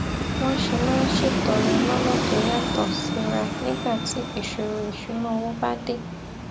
wón ṣe máa ń ṣètọrẹ lónà tó yàtò síra nígbà tí ìṣòro ìṣúnná owó bá dé